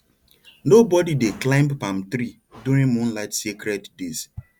nobody dey climb palm tree during moonlight sacred days